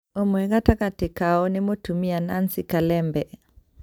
ũmwe gatagatĩ kao nĩ mũtumia Nancy Kalembe.